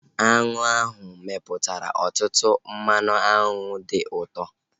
Aṅụ ahu mepụtara ọtụtụ mmanụ aṅụ dị ụtọ